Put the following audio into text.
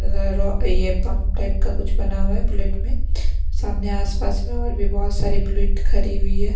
ये pump type का कुछ बना हुआ है बुलेट में सामने आसपास में और भी बहुत सारी बुलेट खरी हुई है।